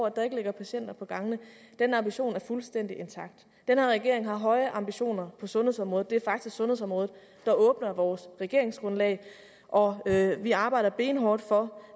at der ikke ligger patienter på gangene er en ambition som er fuldstændig intakt den her regering har høje ambitioner på sundhedsområdet det er faktisk sundhedsområdet der åbner vores regeringsgrundlag og vi arbejder benhårdt for